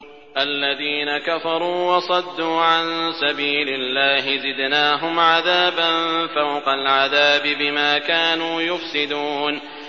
الَّذِينَ كَفَرُوا وَصَدُّوا عَن سَبِيلِ اللَّهِ زِدْنَاهُمْ عَذَابًا فَوْقَ الْعَذَابِ بِمَا كَانُوا يُفْسِدُونَ